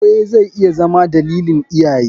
Aure zai iya Zama dalilin iyaye.